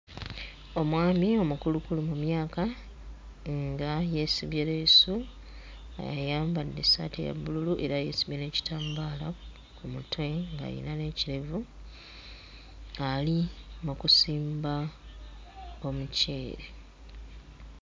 Omwami omukulukulu mu myaka nga yeesibye leesu ayambadde essaati eya bbululu era yeesibye n'ekitambaala ku mutwe ng'ayina n'ekirevu ali mu kusimba omuceere.